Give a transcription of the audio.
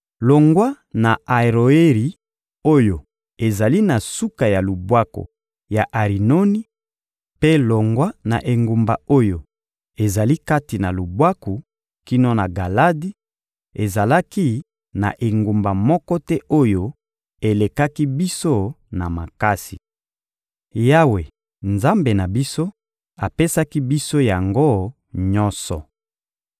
Longwa na Aroeri oyo ezali na suka ya lubwaku ya Arinoni, mpe longwa na engumba oyo ezali kati na lubwaku kino na Galadi, ezalaki na engumba moko te oyo elekaki biso na makasi. Yawe, Nzambe na biso, apesaki biso yango nyonso.